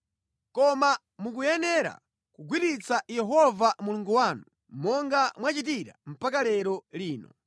Koma mukuyenera kugwiritsa Yehova Mulungu wanu, monga mwachitira mpaka lero lino.